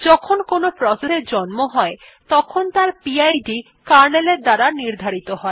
যখন কোনো প্রসেস এর জন্ম হয় তখন তার পিড কার্নেলের দ্বারা নির্ধারিত হয়